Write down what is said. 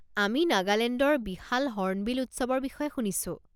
আমি নাগালেণ্ডৰ বিশাল হৰ্ণবিল উৎসৱৰ বিষয়ে শুনিছো।